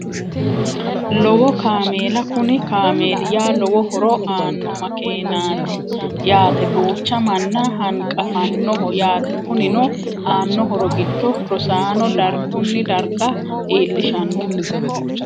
Lowo kaameela Kuni kaameli yaa lowo horo aano makeeneati yaate duucha manna hanqafanoho yaate kunino aano horo giddo rosaano dargunni darga iilishano